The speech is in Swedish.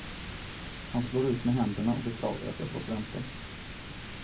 Han slår ut med händerna och beklagar att jag fått vänta.